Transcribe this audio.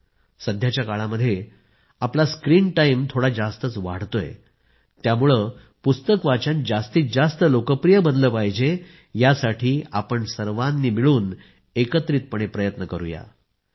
सध्याच्या काळामध्ये आपला स्क्रिन टाइम थोडा जास्तच वाढतोय त्यामुळे पुस्तक वाचन जास्तीत जास्त लोकप्रिय बनलं पाहिजे यासाठीही आपण सर्वांनी मिळून एकत्रितपणे प्रयत्न केले पाहिजेत